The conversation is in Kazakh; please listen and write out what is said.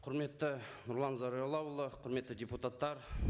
құрметті нұрлан зайроллаұлы құрметті депутаттар